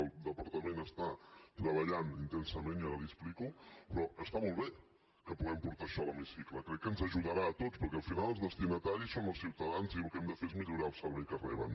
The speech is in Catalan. el departament està treballant intensament i ara li ho explico però està molt bé que puguem portar això a l’hemicicle crec que ens ajudarà a tots perquè al final els destinataris són els ciutadans i el que hem de fer és millorar el servei que reben